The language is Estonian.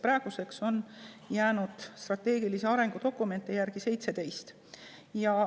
Praeguseks on strateegilisi arengudokumente järele jäänud 17.